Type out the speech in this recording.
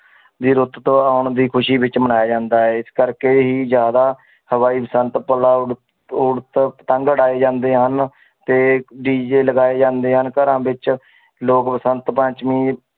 ਆਉਣ ਦੀ ਖ਼ੁਸ਼ੀ ਵਿੱਚ ਮਨਾਇਆ ਜਾਂਦਾ ਹੈ ਇਸ ਕਰਕੇ ਹੀ ਜ਼ਿਆਦਾ ਪਤੰਗ ਉਡਾਏ ਜਾਂਦੇ ਹਨ ਤੇ DJ ਲਗਾਏ ਜਾਂਦੇ ਹਨ ਘਰਾਂ ਵਿੱਚ ਲੋਕ ਬਸੰਤ ਪੰਚਮੀ